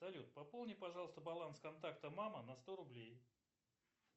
салют пополни пожалуйста баланс контакта мама на сто рублей